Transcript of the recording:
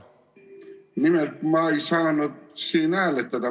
Nimelt, ma ei saanud siin hääletada.